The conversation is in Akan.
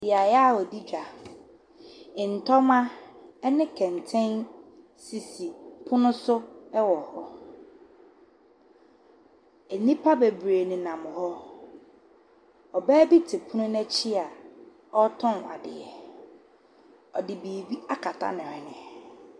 Beaeɛ a wɔdi dwa. Ntɔma ne kɛntɛn sisi pono so wɔ hɔ. nnipa bebree nenam hɔ. Ɔbaa bi te pono n’akyi a ɔtɔn adeɛ, ɔde biribi akata ne hwene.